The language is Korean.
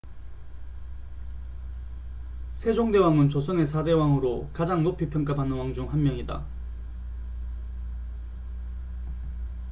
세종대왕은 조선의 4대 왕으로 가장 높이 평가받는 왕 중 한 명이다